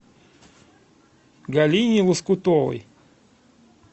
галине лоскутовой